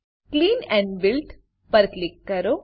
clean and build clean and build પર click કરો